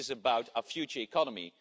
this is about our future economy.